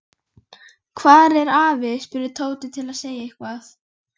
Hvar er afi? spurði Tóti til að segja eitthvað.